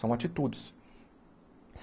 São atitudes.